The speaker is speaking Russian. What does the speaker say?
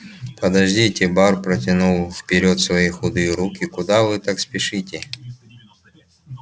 подождите бар протянул вперёд свои худые руки куда вы так спешите